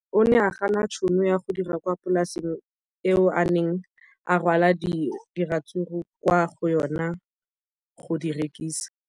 O ne a gana tšhono ya go dira kwa polaseng eo a neng rwala diratsuru kwa go yona go di rekisa.